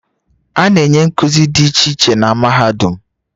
A na-enye nkuzi dị iche iche na mahadum